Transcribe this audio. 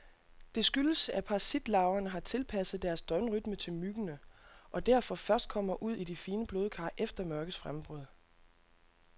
Det skyldes, at parasitlarverne har tilpasset deres døgnrytme til myggene, og derfor først kommer ud i de fine blodkar efter mørkets frembrud.